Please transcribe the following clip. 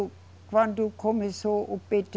Quando começou o Pêtê